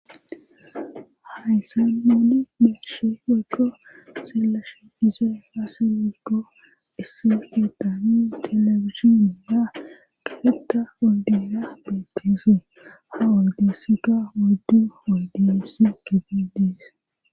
haysan nunni be7she woykko xellashe dizay aazee gikko issi kethanni telebizhinney diza kafetta oydera betteese ha oydezikka oyddu tohon eqidees